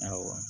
Awɔ